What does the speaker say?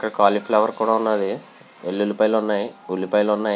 ఇక్కడ కాలీఫ్లవర్ కూడా వున్నది. వెల్లుల్లిపాయలు ఉన్నాయ్. ఉల్లిపాయలు కూడా ఉన్నాయి.